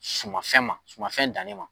Sumafɛn ma sumafɛn dannen ma.